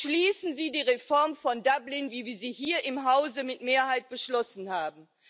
Beschließen sie die Reform von Dublin, wie wir sie hier im Hause mit Mehrheit beschlossen haben!